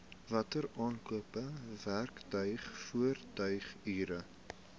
wateraankope werktuig voertuighuur